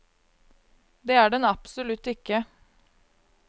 Det er den absolutt ikke.